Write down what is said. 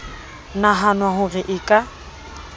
nahanwa ho re e ka